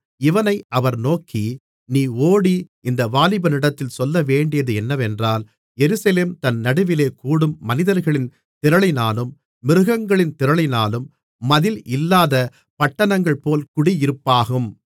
இவனை அவர் நோக்கி நீ ஓடி இந்த வாலிபனிடத்தில் சொல்லவேண்டியது என்னவென்றால் எருசலேம் தன் நடுவிலே கூடும் மனிதர்களின் திரளினாலும் மிருகஜீவன்களின் திரளினாலும் மதில் இல்லாத பட்டணங்கள்போல் குடியிருப்பாகும்